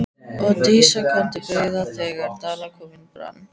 Og Dísa kom til byggða þegar Dalakofinn brann.